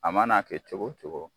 A mana kɛ cogo o cogo